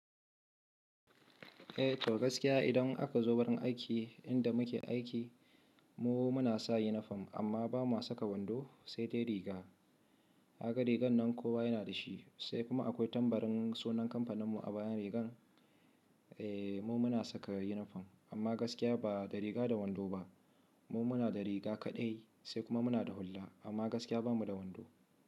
Eh to gaskiya idan aka zo wurin aiki inda muke aiki mu muna sa yunifom amma ba mu saka wando sai dai riga. Haka rigar nan kowa yana da shi sai kuma akwai tambarin sunan kamfaninmu a bayan rigar. Eh mu muna saka yunifom amma gaskiya ba da riga da wando ba. Mu muna da riga kaɗai sai kuma muna da hulla amma gaskiya ba mu da wando.